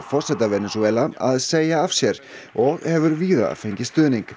forseta Venesúela að segja af sér og hefur víða fengið stuðning